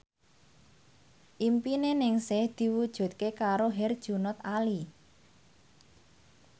impine Ningsih diwujudke karo Herjunot Ali